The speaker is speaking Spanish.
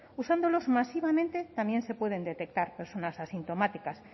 usándolos masivamente también se pueden detectar personas asintomáticas